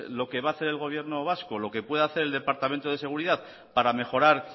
lo que va hacer el gobierno vasco lo que puede hacer el departamento de seguridad para mejorar